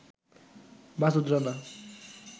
Masud Rana